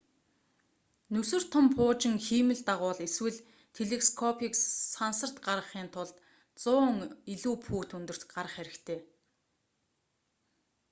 нүсэр том пуужин хиймэл дагуул эсвэл телескопыг сансарт гаргахын тулд 100 илүү фут өндөрт гарах хэрэгтэй